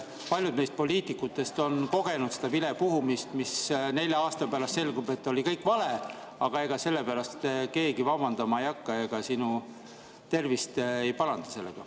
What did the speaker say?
Paljud meist poliitikutest on kogenud vilepuhumist, aga kui nelja aasta pärast selgub, et kõik oli vale, ega sellepärast keegi vabandama ei hakka ega sinu tervist ei paranda sellega.